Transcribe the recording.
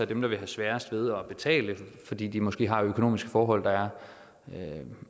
dem der vil have sværest ved at betale fordi de måske har økonomiske forhold der er